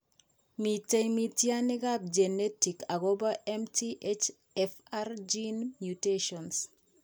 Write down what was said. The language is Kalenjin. Miten mityaaniikap genetic akopo MTHFR gene mutations.